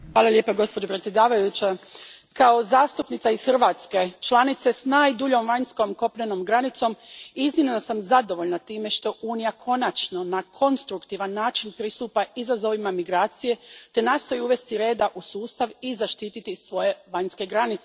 Gospođo predsjednice, kao zastupnica iz Hrvatske, članice s najduljom vanjskom kopnenom granicom, iznimno sam zadovoljna time što Unija konačno na konstruktivan način pristupa izazovima migracije te nastoji uvesti reda u sustav i zaštititi svoje vanjske granice.